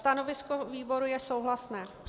Stanovisko výboru je souhlasné.